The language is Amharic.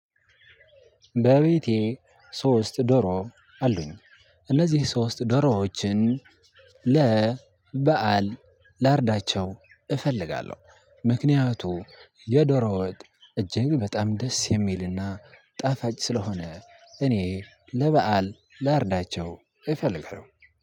በቤቴ ሶስት ዶሮ አሉኝ። እነዚህ ሶስት ዶሮዎችን በዓል ላርዳቸው እፈልጋለሁ። ምክንያቱም የዶሮ ወጥ እጅግ በጣም ደስ የሚልና ጣፋጭ ስለሆነ እኔ ለበአል ላርዳቸው እፈልገው